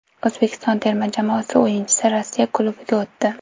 O‘zbekiston terma jamoasi o‘yinchisi Rossiya klubiga o‘tdi .